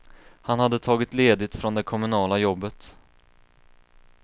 Han hade tagit ledigt från det kommunala jobbet.